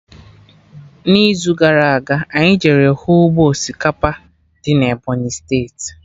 N'izu gara aga, anyị jere hụ ụgbọ osikapa dị na Ebọnyị steeti